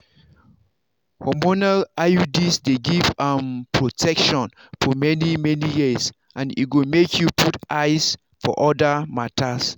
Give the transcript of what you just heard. hormonal iuds dey give um protection for many-many years and e go make you put eyes for other matters.